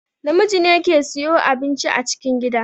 Namiji ne ke siyo abinci a cikin gida